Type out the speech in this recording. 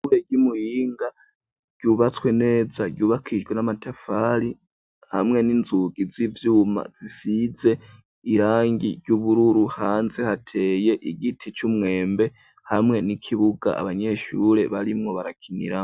Ishure ry'i Muyinga ryubatswe neza ryubakijwe n'amatafari hamwe n'inzugi z'ivyuma zisize irangi ry'ubururu. Hanze hateye igiti c'umwembe, hamwe n'ikibuga abanyeshure barimwo barakiniramwo.